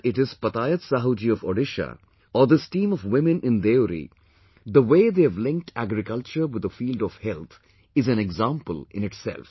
Whether it is Patayat Sahu ji of Odisha or this team of women in Deori, the way they have linked agriculture with the field of health is an example in itself